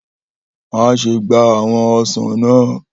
Maṣe gba awọn ọsan naa!